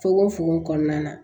Fokon fokon kɔnɔna na